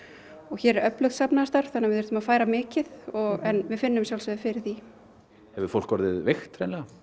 hér er öflugt safnaðarstarf þannig að við þurftum að færa mikið og við finnum að sjálfsögðu fyrir því hefur fólk orðið veikt